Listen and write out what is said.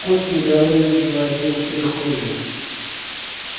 кот недовольно завопил в прихожей